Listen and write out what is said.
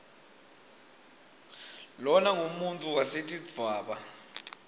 lona ngumuntfu wetesidvwaba